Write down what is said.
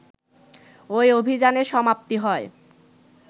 ওই অভিযানের সমাপ্তি হয়